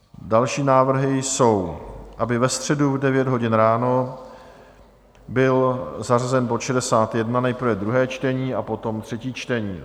Další návrhy jsou, aby ve středu v 9 hodin ráno byl zařazen bod 61, nejprve druhé čtení a potom třetí čtení.